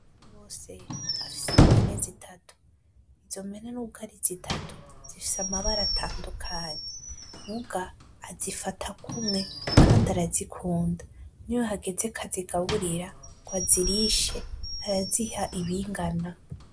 Basabose afise impene zitatu, izo mpene nubw'ari zitatu zifise amabara atandukanye, muga azifata kumwe kandi arazikunda. Niyo hageze k'azigaburira, ng'azirishe, araziha ibingana.